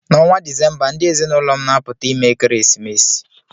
N'ọnwa Disemba, ndị ezinụlọ m na-apụta ime ekeresimesi